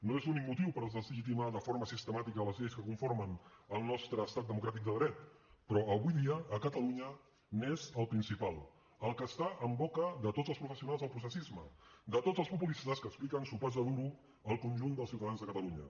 no és l’únic motiu per deslegitimar de forma sistemàtica les lleis que conformen el nostre estat democràtic de dret però avui dia a catalunya n’és el principal el que està en boca de tots els professionals del processisme de tots els populistes que expliquen sopars de duro al conjunt dels ciutadans de catalunya